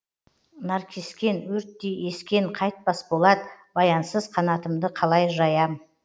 наркескен өрттей ескен қайтпас болат баянсыз қанатымды қалай жаям